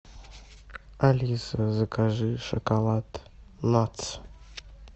алиса закажи шоколад натс